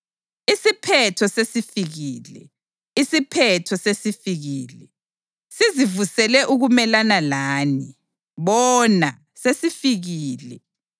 Isiphetho sesifikile! Isiphetho sesifikile! Sizivusele ukumelana lani. Bona, sesifikile!